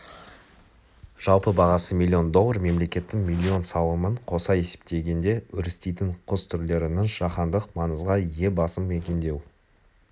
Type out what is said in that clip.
жалпы бағасы миллион доллар мемлекеттің миллион салымын қоса есептегенде өрістейтін құс түрлерінің жаһандық маңызға ие басым мекендеу